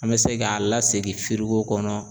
An bɛ se k'a lasegin kɔnɔ